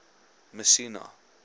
messina